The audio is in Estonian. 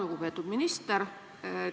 Lugupeetud minister!